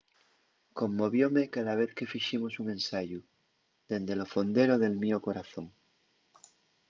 conmovióme cada vez que fiximos un ensayu dende lo fondero del mio corazón